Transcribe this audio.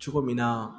Cogo min na